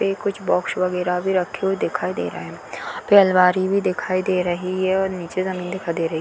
ये कुछ बॉक्स वगेरा भी रखे हुए दिखाई दे रहे हैं | फिर अलमारी भी दिखाई दे रही है और निचे जमीन दिखाई दे रही है |